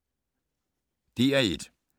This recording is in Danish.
DR1